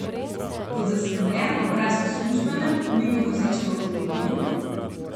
Kot zaskrbljen obraz v službenem, mimo vozečem avtomobilu?